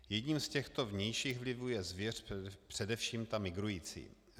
Jedním z těchto vnějších vlivů je zvěř, především ta migrující.